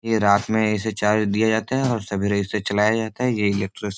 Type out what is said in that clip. ये रात में इसे चार्ज दिए जाता है और सवेरे इसे चलाया जाता है ये इलेक्ट्र --